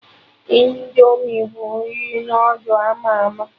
Indomi bụ nri noodul ama ama